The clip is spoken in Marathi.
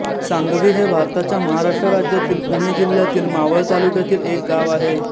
सांगवी हे भारताच्या महाराष्ट्र राज्यातील पुणे जिल्ह्यातील मावळ तालुक्यातील एक गाव आहे